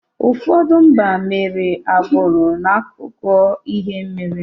Ụfọdụ mba mere agbụrụ n’akụkọ ihe mere ha.